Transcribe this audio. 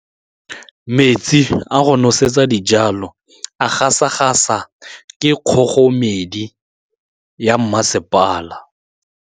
Metsi a go nosetsa dijalo a gasa gasa ke kgogomedi ya masepala.